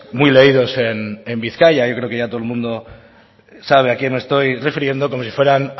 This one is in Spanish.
muy leídos en bizkaia y creo que ya todo el mundo sabe a quién me estoy refiriendo como si fueran